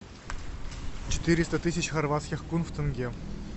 четыреста тысяч хорватских кун в тенге